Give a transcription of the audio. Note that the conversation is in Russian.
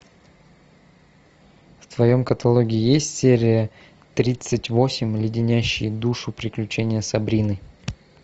в твоем каталоге есть серия тридцать восемь леденящие душу приключения сабрины